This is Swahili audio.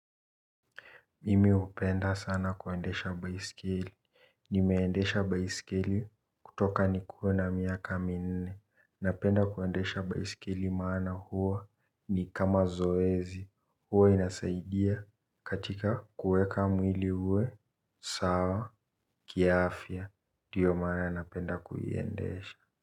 Mimih upenda sana kuendesha baisikeli. Nimeendesha baisikeli kutoka nikuwe na miaka mi nne napenda kuendesha baiskeli maana huwa ni kama zoezi huwa inasaidia katika kuweka mwili sawa kiafya ndio maana napemda kuiendesha.